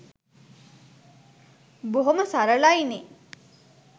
බොහොම සරලයි නේ